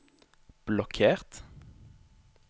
blokkert